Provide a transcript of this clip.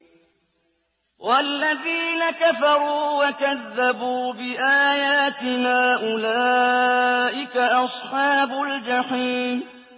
وَالَّذِينَ كَفَرُوا وَكَذَّبُوا بِآيَاتِنَا أُولَٰئِكَ أَصْحَابُ الْجَحِيمِ